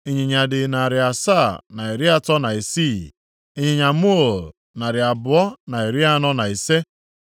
Ịnyịnya dị narị asaa na iri atọ na isii (736), ịnyịnya muul narị abụọ na iri anọ na ise (245),